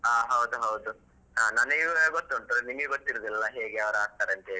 ಹ ಹೌದು ಹೌದು ಹ ನನಿಗೆ ಗೊತ್ತುಂಟು ನಿನ್ಗೆ ಗೊತ್ತಿರುದಿಲ್ಲ ಹೇಗೆ ಯಾರು ಆಡ್ತಾರೆ ಅಂತ ಹೇಳಿ.